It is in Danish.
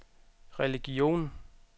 religion